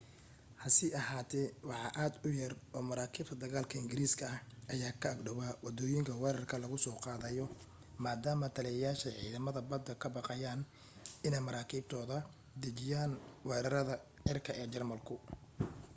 hase ahaate wax aad u yar oo maraakiibta dagaalka ingiriiska ah ayaa ka ag dhawaa waddooyinka weerarka laga soo qaadayo maadaama taliyayaasha ciidamada baddu ka baqayeen inay maraakiibtooda dejiyaan weerarada cirka ee jarmalku